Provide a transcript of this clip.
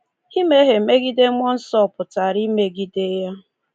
Imehie megide Mmụọ Nsọ pụtara imegide ya.